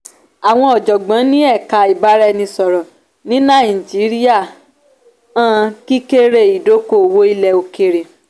àwọn ọ̀jọ̀gbọ́n ní ẹ̀ka ibaraẹnisọ̀rọ ní nàìjíríà hàn kíkéré ìdóko-òwò ilẹ̀ òkèèrè.